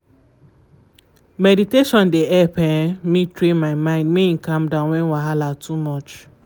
meditation dey help um me train my mind make e calm down when wahala too much.